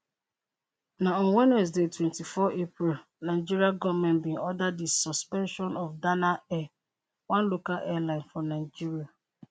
na on wednesday 24 april nigeria goment bin order di suspension of dana air one local airline for nigeria